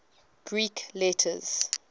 greek letters